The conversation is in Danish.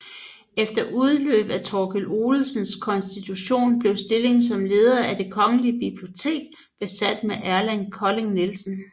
Efter udløb af Torkil Olsens konstitution blev stillingen som leder af Det Kongelige Bibliotek besat med Erland Kolding Nielsen